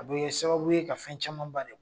A bɛ kɛ sababu ye ka fɛn camanba de